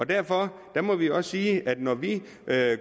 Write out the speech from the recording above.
derfor må vi også sige at når vi